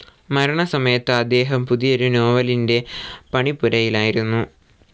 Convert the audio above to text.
മരണസമയത്ത് അദ്ദേഹം പുതിയൊരു നോവലിന്റെ പണിപ്പുരയിലായിരുന്നു.